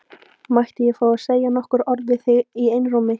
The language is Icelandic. Mætti ég fá að segja nokkur orð við þig í einrúmi?